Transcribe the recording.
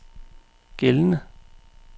gældende